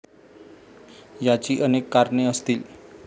याची अनेक कारणे असतील.